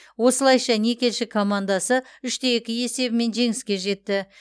осылайша никельщик командасы үш те екі есебімен жеңіске жетті